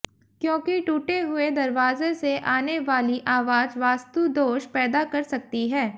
क्योकि टूटे हुए दरवाजे से आने वाली आवाज वास्तुदोष पैदा कर सकती है